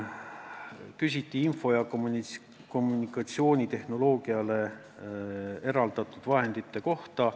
Küsiti ka info- ja kommunikatsioonitehnoloogiale eraldatud vahendite kohta.